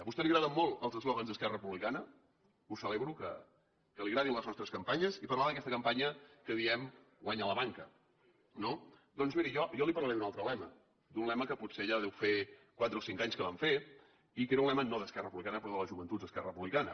a vostè li agraden molt els eslògans d’esquerra republicana ho celebro que li agradin les nostres campanyes i parlava d’aquesta campanya en què diem guanya la banca no doncs miri jo li parlaré d’un altre lema d’un lema que potser ja deu fer quatre o cinc anys que van fer i que era un lema no d’esquerra republicana però de les joventuts d’esquerra republicana